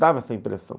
Dava essa impressão.